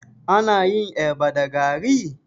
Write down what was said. Ana yin eba da gari?